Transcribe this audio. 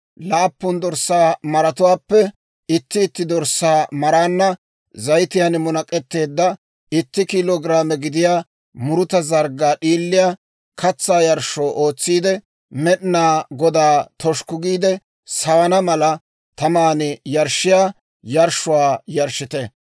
laappun dorssaa maratuwaappe itti itti dorssaa maraanna zayitiyaan munak'etteedda itti kiilo giraame gidiyaa muruta zarggaa d'iiliyaa katsaa yarshshuwaa ootsiide, Med'inaa Godaa toshukku giide sawana mala, taman yarshshiyaa yarshshuwaa yarshshite.